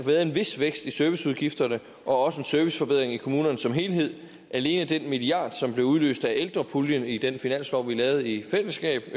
været en vis vækst i serviceudgifterne og også en serviceforbedring i kommunerne som helhed alene den milliard som blev udløst af ældrepuljen i den finanslov vi lavede i fællesskab